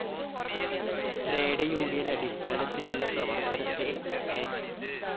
Trade union അടിസ്ഥാനത്തിലുള്ള പ്രവർത്തനത്തെ N.